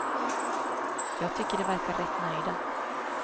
Jag tycker de verkar rätt nöjda.